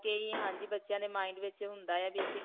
ਆ ਕੇ ਹੀ. ਹਾਂਜੀ. ਬੱਚਿਆਂ ਦੇ mind ਵਿੱਚ ਹੁੰਦਾ ਹੈ ਵੀ